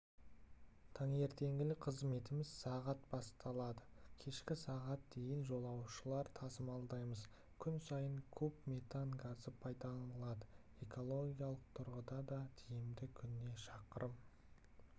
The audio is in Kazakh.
таңертеңгілік қызметіміз сағат басталады кешкі сағат дейін жолаушылар тасымалдаймыз күн сайын куб метан газы пайдаланылады экологиялық тұрғыдан да тиімді күніне шақырым